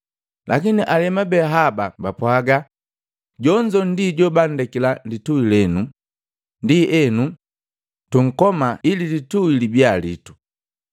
Lakini alemu be haba bapwaganya, ‘Jonzo ndi jobanndek lituhi lenu, ndienu, tunkoma ili litui libia litu!’